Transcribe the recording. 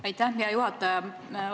Aitäh, hea juhataja!